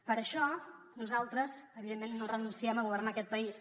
per això nosaltres evidentment no renunciem a governar aquest país